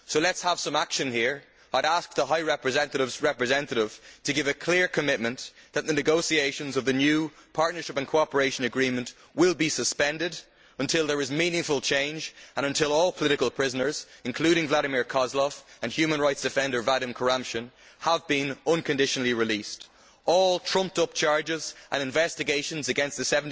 So let us have some action here and ask the Vice President High Representative's representative to give a clear commitment that the negotiations on the new Partnership and Cooperation Agreement will be suspended until there is meaningful change and until all political prisoners, including Vladimir Kozlov and human rights defender Vadim Kuramshin, have been unconditionally released, and all trumped up charges and investigations against the